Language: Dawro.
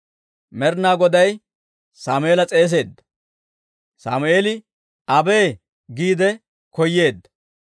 Med'inaa Goday Sammeela s'eeseedda; Sammeeli, «abee!» giide koyeedda.